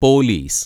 police